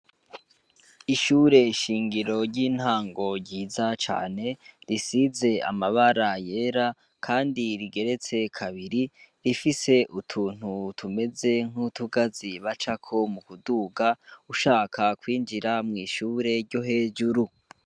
Ishure shingiro ry'intango ryiza cane, risize amabara yera kandi rigeretse kabiri, rifise utuntu tumeze nk'utugazi bacako mu kuduga, ushaka kw'injira mw'ishure ryo hejuru.